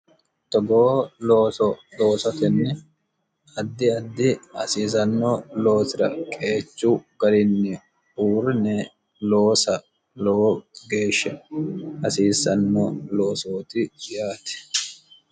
togoo looso loosatenni addi addi hasiisanno loosira qeechu garinni uurine loosa lowo geeshshe hasiissanno loosooti yaate.